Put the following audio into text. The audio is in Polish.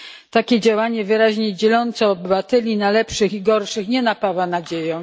Takie działanie, wyraźnie dzielące obywateli na lepszych i gorszych, nie napawa nadzieją.